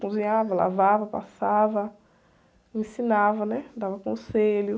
Cozinhava, lavava, passava, ensinava, né? Dava conselho.